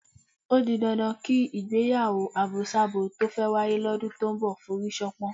Ó di dandan kí ìgbéyàwó àbosábo tó fẹ́ wáyé lọ́dún tó ń bọ̀ forí ṣánpọ́n.